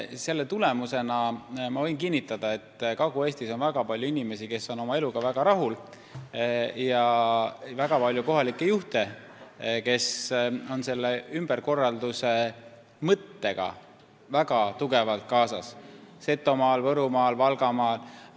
Selle tulemusena võin kinnitada, et Kagu-Eestis on väga palju inimesi, kes on oma eluga väga rahul, ja väga palju kohalikke juhte, kes on selle ümberkorralduse mõttega väga tugevalt kaasa tulnud, neid on Setomaal, Võrumaal, Valgamaal.